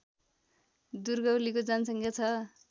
दुर्गौलीको जनसङ्ख्या छ